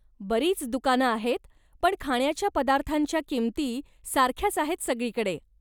बरीच दुकानं आहेत, पण खाण्याच्या पदार्थांच्या किमती सारख्याच आहेत सगळीकडे.